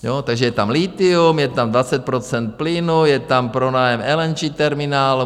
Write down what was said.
Takže je tam lithium, je tam 20 % plynu, je tam pronájem LNG terminál.